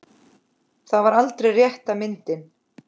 Það var aldrei rétta myndin.